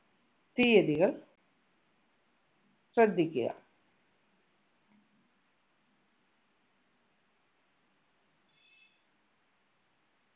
തീയതികൾ ശ്രദ്ധിക്കുക